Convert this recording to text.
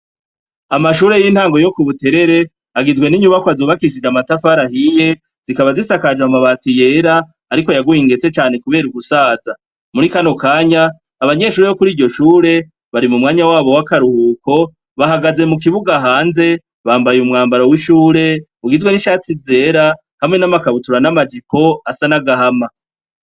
Amashure yintango yo kubuterere agizwe ninyubakwa zubakishishwe namatafari ahiye zikaba zisakaje amabati yera ariko yaguye ingese kubera ugusaza muri kano kanya abanyeshure bokuriryo shure bari mumwanya wabo wakaruhuko bahagaze mukibuga hanze bambaye umwambaro wishure ugizwe nishati zera hamwe namakabutura namajipo asa nagahama